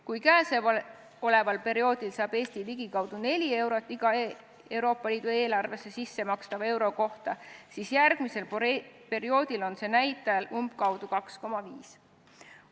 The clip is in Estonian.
Kui käesoleval perioodil saab Eesti ligikaudu 4 eurot iga Euroopa Liidu eelarvesse sissemakstava euro kohta, siis järgmisel perioodil umbkaudu 2,5.